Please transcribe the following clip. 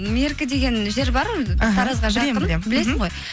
меркі деген жер бар белсің ғой